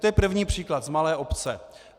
To je první příklad z malé obce.